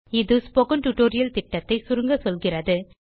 இது spoken tutorial திட்டத்தை சுருங்க சொல்கிறது